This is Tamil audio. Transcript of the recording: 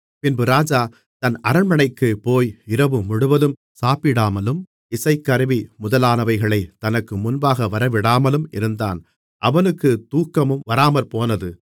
பின்பு ராஜா தன் அரண்மனைக்குப் போய் இரவுமுழுவதும் சாப்பிடாமலும் இசைக்கருவி முதலானவைகளைத் தனக்கு முன்பாக வரவிடாமலும் இருந்தான் அவனுக்கு தூக்கமும் வராமற்போனது